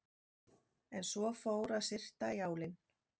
En svo fór að syrta í álinn.